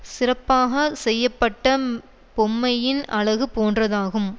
சிறப்பாக செய்யப்பட்டம் பொம்மையின் அழகு போன்றதாகும்